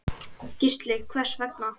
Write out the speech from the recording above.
Gísli: Hvers vegna?